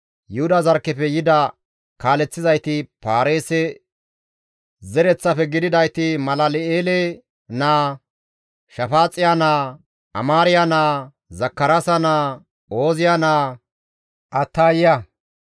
Yuhuda zarkkefe yida kaaleththizayti Paareese zereththafe gididayti Malal7eele naa, Shafaaxiya naa, Amaariya naa, Zakaraasa naa, Ooziya naa, Attayiya,